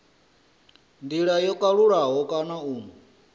ndila yo kalulaho kana u